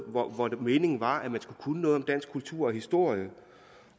hvor hvor meningen var at man skulle kunne noget om dansk kultur og historie